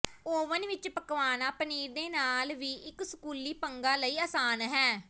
oven ਵਿਚ ਪਕਵਾਨਾ ਪਨੀਰ ਦੇ ਨਾਲ ਵੀ ਇੱਕ ਸਕੂਲੀ ਪੰਗਾ ਲਈ ਆਸਾਨ ਹੈ